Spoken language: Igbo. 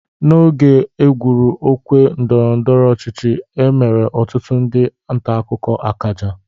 N'oge e gwuru okwe ndọrọndọro ọchịchi e mere ọtụtụ ndị ntakụkọ akaja.